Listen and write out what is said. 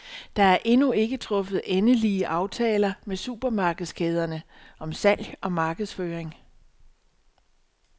Der er endnu ikke truffet endelige aftaler med supermarkedskæderne om salg og markedsføring.